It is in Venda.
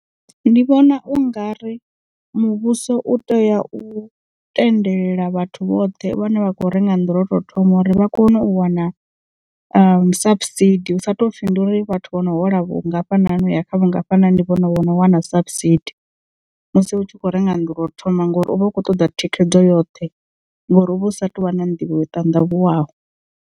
Ndi vhona u nga ri muvhuso u tea u tendelela vhathu vhoṱhe vhane vha kho renga nnḓu lwa u to thoma uri vha kone u wana sapusidi hu sa tou pfhi ndi uri vhathu vho no hola vhungafhani uya kha vhungafhani ndi vhone vhano wana sapusidi musi u tshi khou renga nnḓu lwa u thoma ngori uvha u kho ṱoḓa thikhedzo yoṱhe ngori uvha u sa tu vha na nḓivho yo ṱandavhuwaho.